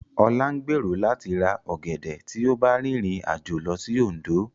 Ọlá ń gbèrò láti ra ọ̀gẹ̀dẹ̀ tí ó bá rìnrìn àjò lọ sí Òndó